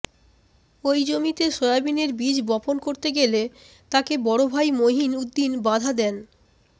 ওই জমিতে সয়াবিনের বীজ বপন করতে গেলে তাকে বড়ভাই মহিন উদ্দিন বাধা দেন